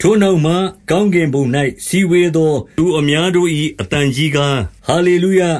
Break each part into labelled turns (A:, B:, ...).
A: ထိုနောက်မှ ကောင်းကင်ဘုံ၌ စည်းဝေးသော သူအများတို့၏ အသံကြီးကား၊ ဟာလေ လုယ၊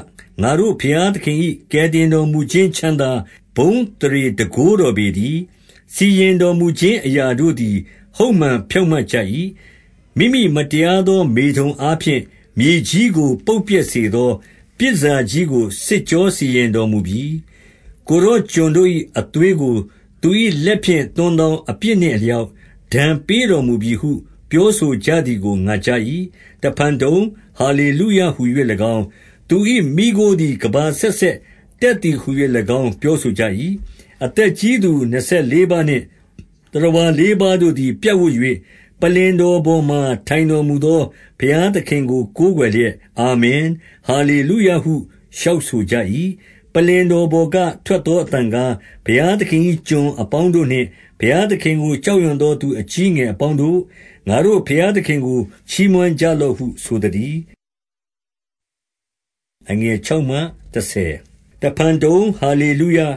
A: ငါတို့ဘုရားသခင်၏ ကယ်တင်တော်မူခြင်း ချမ်းသာ၊ ဘုန်းအသရေတန်ခိုးတော်ပေတည်း။ 2 စီရင်တော်မူခြင်းအရာတို့သည် ဟုတ်မှန် ဖြောင့်မတ်ကြ၏။ မိမိမတရားသော မေထုန်အားဖြင့် မြေကြီးကို ပုပ်ပျက်စေသော ပြည်တန်ဆာကြီးကို စစ်ကြောစီရင်တော်မူပြီ။ ကိုယ်တော် ကျွန်တို့၏ အသွေး ကို သူ၏ လက်ဖြင့်သွန်းသော အပြစ်နှင့်အလျောက် ဒဏ်ပေးတော်မူပြီဟု ပြောဆိုကြသည်ကို ငါကြား၏။ 3 တဖန်တုံ၊ ဟာလေလုယဟူ၍၎င်း၊ သူ၏ မီးခိုးသည် ကမ္ဘာအဆက်ဆက် တက်သည်ဟူ၍၎င်း ပြောဆိုကြ၏။ 4 အသက်ကြီးသူ နှစ်ဆယ်လေးပါးနှင့် သတ္တဝါ လေးပါးတို့သည် ပြင်ဝပ်၍၊ ပလ္လင်တော်ပေါ်မှာ ထိုင်တော် မူသော ဘုရားသခင်ကို ကိုးကွယ်လျက်၊ အာမင်၊ ဟာလေလုယဟု လျှောက်ဆိုကြ၏။ 5 ပလ္လင်တော်ပေါ်က ထွက်သောအသံကား၊ ဘုရားသခင်၏ ကျွန်အပေါင်းတို့နှင့် ဘုရားသခင်ကို ကြောက်ရွံ့သောသူ အကြီးအငယ်အပေါင်းတို့၊ ငါတို့ ဘုရားသခင်ကို ချီးမွမ်းကြလော့ဟု ဆိုသတည်း။ 6 တဖန်တုံ၊ ဟာလေလုယ၊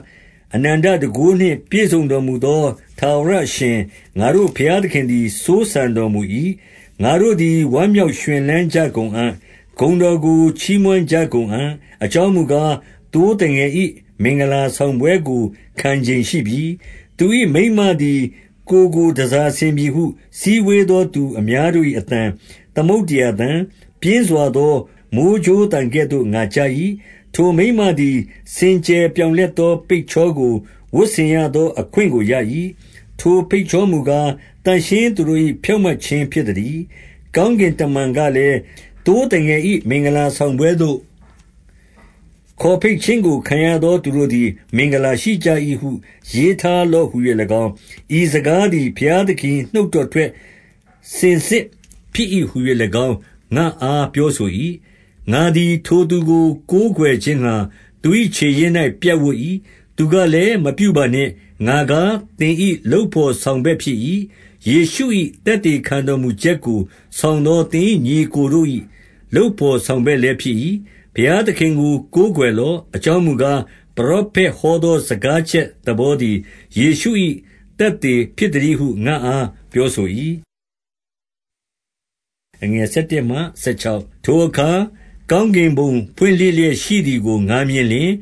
A: အနန္တတန်ခိုးနှင့် ပြည့်စုံတော်မူသော ထာဝရအရှင်၊ ငါတို့ဘုရားသခင် သည် စိုးစံတော်မူ၏။ 7 ငါတို့သည် ဝမ်းမြောက်ရွှင်လန်းကြကုန်အံ့၊ ဂုဏ်တော်ကို ချီးမွမ်းကြကုန်အံ့၊ အကြောင်းမူကား၊ သိုးသငယ်၏ မင်္ဂလာတောင်ပွဲကို ခံချိန်ရှိပြီ။ သူ၏ မိန်းမသည် ကိုယ်ကို တန်ဆာဆင်ပြီဟု စည်းဝေးသော သူအများတို့၏ အသံ၊ သမုဒ္ဒရာသံ၊ ပြင်းစွာသော မိုဃ်းကြိုးသံကဲ့သို့ ငါကြား၏။ 8 ထိုမိန်းမသည် စင်ကြယ်ပြောင်လက်သော ပိတ်ချောကို ဝတ်ဆင်ရသောအခွင့်ကို ရ၏။ ထိုပိတ်ချော မူကား၊ သန့်ရှင်းသူတို့၏ ဖြောင့်မတ်ခြင်း ဖြစ်သတည်း။ 9 ကောင်းကင်တမန်ကလည်း၊ သိုးသငယ်၏ မင်္ဂလာဆောင်ပွဲသို့ ခေါ်ဘိတ်ခြင်းကို ခံရသောသူတို့သည် မင်္ဂလာရှိကြ၏ဟု ရေးထားလော့ဟူ၍၎င်း၊ ဤစကား သည် ဘုရားသခင်၏ နှုတ်တော်ထွက်စင်စစ်ဖြစ်၏ ဟူ၍၎င်း ငါ့အားပြောဆို၏။ 10 ငါသည် ထိုသူကို ကိုးကွယ်ခြင်းငှါ သူ၏ ခြေရင်း၌ ပြပ်ဝပ်၏ သူကလည်း၊ မပြုပါနှင့်၊ ငါကား သင်၏ လုပ်ဘော်ဆောင်ဘက်ဖြစ်၏။ ယေရှု၏ သက်သေခံတော်မူချက်ကို ဆောင်သော သင်၏ ညီအစ်ကိုတို့၏ လုပ်ဘော်ဆောင်ဘက်လည်းဖြစ်၏။ ဘုရားသခင်ကို ကိုးကွယ်လော့။ အကြောင်းမူကား၊ ပရောဖက်ဟောသော စကားချက်သဘောသည် ယေရှု၏ သက်သေဖြစ်သတည်းဟု ငါ့အားပြောဆို၏။ 11 ထိုအခါ ကောင်းကင်ဘုံ ဖွင့်လှစ်လျက်ရှိသည်ကို ငါမြင်လျှင်၊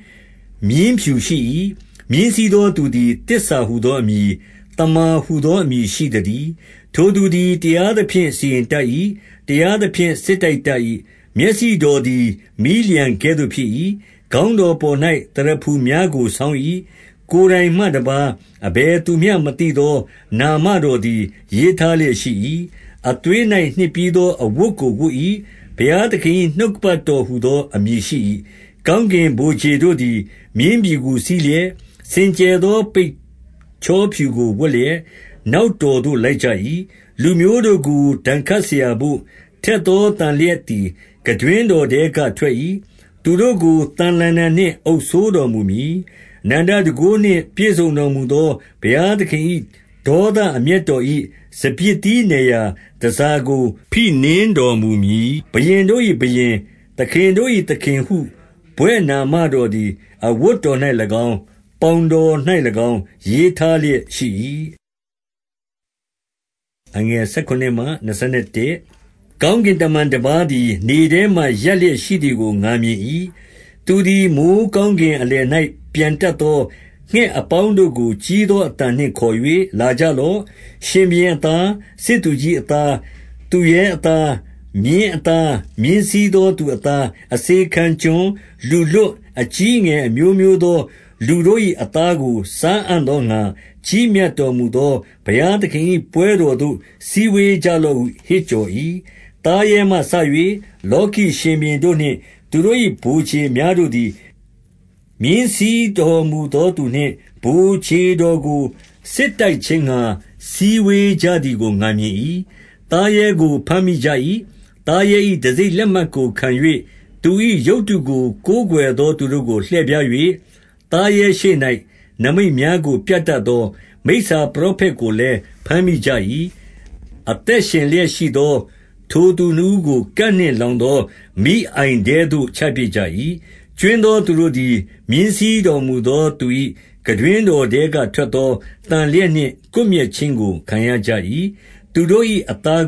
A: မြင်းဖြူရှိ၏။ မြင်းစီးသော သူသည် သစ္စာ ဟူသောမည်၊ သမ္မာဟူသော အမည်ရှိသတည်း။ ထိုသူ သည် တရားသဖြင့် စီရင်တတ်၏။ တရားသဖြင့် စစ်တိုက်တတ်၏။ 12 မျက်စိတော်သည် မီးလျှံကဲ့သို့ဖြစ်၏။ ခေါင်း တော်ပေါ်၌ သရဖူများကို ဆောင်း၏။ ကိုယ်တိုင်မှတပါး၊ အဘယ်သူမျှမသိသော နာမတော်သည် ရေးထားလျက် ရှိ၏။ 13 အသွေး၌နှစ်ပြီးသောအဝတ်ကို ဝတ်၏။ ဘုရားသခင်၏ နှုတ်ကပတ်တော်ဟူသော အမည်ရှိ၏။ 14 ကောင်းကင်ဗိုလ်ခြေတို့သည် မြင်းဖြူကို စီးလျက်၊ စင်ကြယ်သော ပတ်ချောဖြူကို ဝတ်လျက်၊ နောက်တော်သို့ လိုက်ကြ၏။ 15 လူမျိုးတို့ကို ဒဏ်ခတ်စရာဘို့၊ ထက်သော သန်လျင်သည် ခံတွင်းတော်ထဲကထွက်၏။ သူတို့ကို သံလှံတံနှင့် အုပ်စိုးတော်မူမည်။ အနန္တတန်ခိုးနှင့် ပြည့်စုံတော်မူသော ဘုရားသခင်၏ ဒေါသအမျက်တော် ၏ စပျစ်သီးနယ်ရာ တန်ဆာကို ဖိနင်းတော်မူမည်။ 16 ဘုရင်တို့၏ဘုရင်၊ သခင်တို့၏သခင်ဟု ဘွဲ့နာမ တော်သည် အဝတ်တော်၌၎င်း၊ ပေါင်တော်၌၎င်း ရေးထားလျက်ရှိ၏။ 17 ကောင်းကင်တမန်တပါးသည် နေထဲမှာ ရပ် လျက်ရှိသည်ကို ငါမြင်၏။ 18 သူသည် မိုဃ်းကောင်းကင်အလယ်၌ ပျံတတ် သော ငှက်အပေါင်းတို့ကို ကြီးသောအသံနှင့်ခေါ်၍၊ လာကြလော့။ ရှင်ဘုရင်အသား၊ စစ်သူကြီးအသား၊ သူရဲအသား၊ မြင်းအသား၊ မြင်းစီးသောသူ အသား၊ အစေခံကျွန်၊ လူလွှတ်၊ အကြီးအငယ် အမျိုးမျိုးသော လူတို့၏ အသားကို စားအံ့သောငှါ ၊ ကြီးမြတ်တော်မူသော ဘုရားသခင်၏ ပွဲတော်သို့ စည်းဝေးကြလော့ဟု ဟစ်ကြော်၏။ 19 သားရဲမှစ၍ လောကီရှင်ဘုရင်တို့နှင့် သူတို့၏ ဗိုလ်ခြေများတို့သည်၊ မြင်းစီးတော်မူသောသူနှင့် ဗိုလ်ခြေတော်ကို စစ်တိုက်ခြင်းငှါ စည်းဝေးကြသည်ကို ငါမြင်၏။ သားရဲကို ဘမ်းမိကြ၏။ သားရဲ၏တံဆိပ် လက်မှတ်ကိုခံ၍၊ သူ၏ရုပ်တုကို ကိုးကွယ်သောသူတို့ကို လှည့်ဖြား၍ သားရဲရှေ့၌ နိမိတ်များကို ပြတတ်သော မိစ္ဆာပရောဖက်ကိုလည်း ဘမ်းမိကြ၏။ အသက်ရှင် လျက်ရှိသော ထိုသူနှစ်ဦးကို ကန်နှင့်လောင်သော မီးအိုင်ထဲသို့ ချပစ်ကြ၏။ ကြွင်းသောသူတို့သည်၊ မြင်းစီးတော်မူသော သူ၏ခံတွင်းတော်ထဲက ထွက်သော သန်လျက်နှင့် ကွပ်မျက်ခြင်းကို ခံရကြ၏။ သူတို့၏ အသား